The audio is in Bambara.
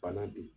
Bana don